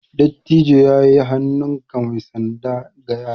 Dattijo ya yi hannunka mai sanda ga yara.